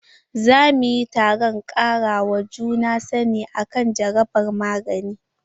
Za mu yi taron kara wa juna sani akan jarabar magani.